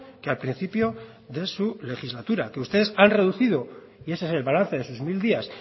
que al principio de su legislatura ustedes han reducido y ese es el balance de sus mil días